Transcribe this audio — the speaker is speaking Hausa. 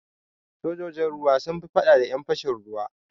Sojojin ruwa sun yi faɗa da ƴan fashin ruwa.